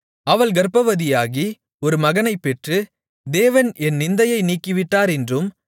அவள் கர்ப்பவதியாகி ஒரு மகனைப் பெற்று தேவன் என் நிந்தையை நீக்கிவிட்டார் என்றும்